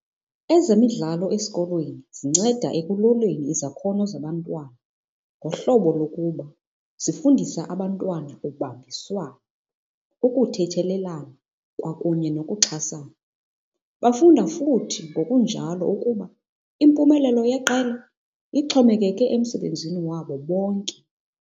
Ezemidlalo esikolweni zinceda ekuloleni izakhono zabantwana ngohlobo lokuba zifundisa abantwana ubambiswano, ukuthethelelana kwakunye nokuxhasana. Bafunda futhi ngokunjalo ukuba impumelelo yeqela ixhomekeke emsebenzini wabo bonke.